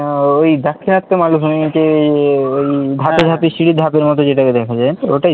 উম ওই দাক্ষিণাত্য মালভূমিতে উহ ওই ধাপে ধাপের সিড়ির ধাপের মতো যেটা দেখা যায় ওটাই তো?